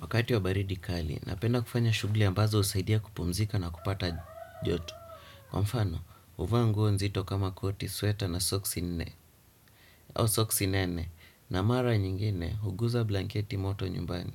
Wakati wa baridi kali, napenda kufanya shugli ambazo husaidia kupumzika na kupata joto. Kwa mfano, uvaa nguo nzito kama koti sueta na soksi nene, na mara nyingine, huguza blanketi moto nyumbani.